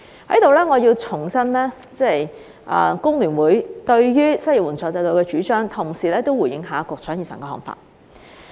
我在此要重申工聯會對於失業援助制度的主張，同時也回應局長以上看法。